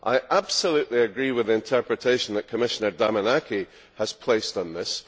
I absolutely agree with the interpretation that Commissioner Damanaki has placed on this.